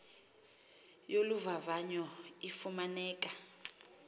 yolu vavanyo ifumaneka